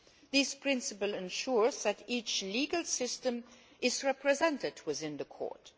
This principle ensures that each legal system is represented within the Court